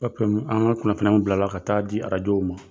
an ŋa kunnafoniyaw bilala ka taa a di ma